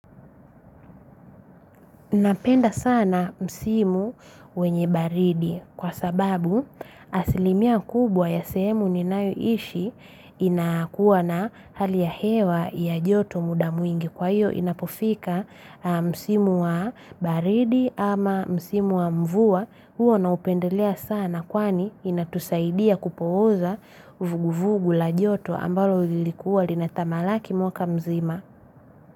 Napenda sana msimu wenye, baridi. Kwa sababu, asilimia kubwa ya sehemu ninayoishi, inakuwa na, hali ya hewa ya joto muda mwingi kwa hiyo inapofika msimu wa baridi ama msimu wa mvua huo naupendelea sana kwani inatusaidia kupooza uvuguvugu la joto ambalo lilikuwa linatamalaki mwaka mzima.